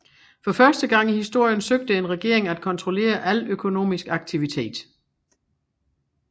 For første gang i historien søgte en regering at kontrollere al økonomisk aktivitet